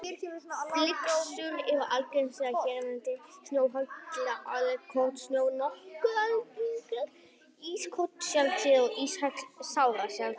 Flyksur eru algengastar hérlendis, snjóhagl er algengt, kornsnjór nokkuð algengur, ískorn sjaldséð og íshagl sárasjaldgæft.